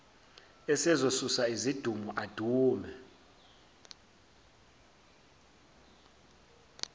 esezosusa izidumo adume